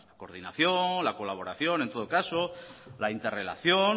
coordinación la colaboración en todo caso la interrelación